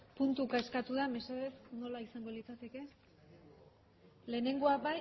puntuka eskatu da mesedez nola izango litzateke bat